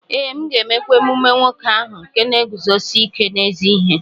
Ee, m ga-emekwa emume nwoke ahụ nke na-eguzosi ike n’ezi ihe.